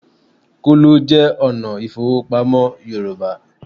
Kóló jẹ́ ọ̀nà ìfowópamọ́ Yorùbá